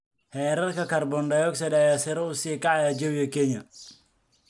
Heerarka kaarboon-dioxide ayaa sare u sii kacaya jawiga Kenya.